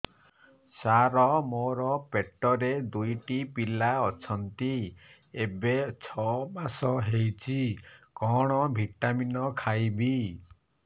ସାର ମୋର ପେଟରେ ଦୁଇଟି ପିଲା ଅଛନ୍ତି ଏବେ ଛଅ ମାସ ହେଇଛି କଣ ଭିଟାମିନ ଖାଇବି